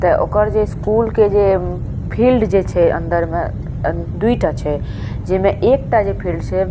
ते ओकर जे स्कूल के जे उम्म फील्ड जे छै अंदर में ए दुइटा छै जेमे एकटा जे छै फील्ड छै --